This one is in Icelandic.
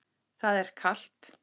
Það er kalt.